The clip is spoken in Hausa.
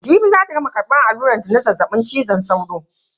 Jibi zata gama karbar alluran zazzabin cizon sauro.